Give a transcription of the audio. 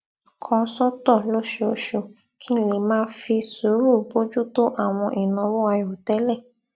kan sótò lóṣooṣù kí n lè máa fi sùúrù bójú tó àwọn ìnáwó àìròtẹlẹ